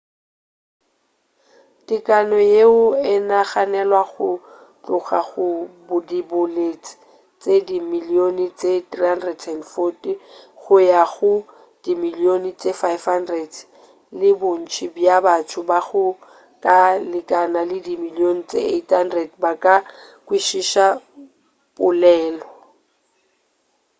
tekano yeo e naganelwago go tloga go diboledi tše dimilione tše 340 go ya go dimilione tše 500 le bontši bja batho ba go ka lekana dimilione tše 800 ba ka kwešiša polelo